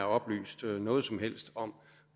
oplyst noget som helst om